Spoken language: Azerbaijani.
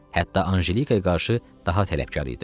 Hətta Anjelikaya qarşı daha tələbkar idi.